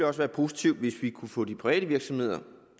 også være positivt hvis vi kunne få de private virksomheder